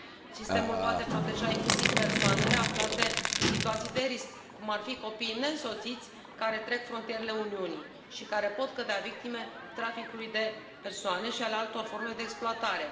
Sistemul poate proteja inclusiv persoanele aflate în situații de risc, cum ar fi copiii neînsoțiți care trec frontierele Uniunii și care pot cădea victime traficului de persoane și al altor forme de exploatare.